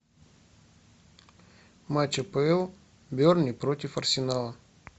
матч апл бернли против арсенала